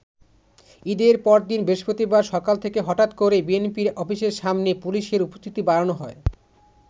ঈদের পরদিন বৃহস্পতিবার সকাল থেকে হঠাৎ করেই বিএনপির অফিসের সামনে পুলিশের উপস্থিতি বাড়ানো হয়।